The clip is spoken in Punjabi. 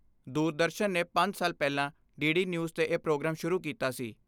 ਦੂਰਦਰਸ਼ਨ ਨੇ ਪੰਜ ਸਾਲ ਪਹਿਲਾਂ ਡੀ ਡੀ ਨਿਊਜ਼ 'ਤੇ ਇਹ ਪ੍ਰੋਗਰਾਮ ਸ਼ੁਰੂ ਕੀਤਾ ਸੀ।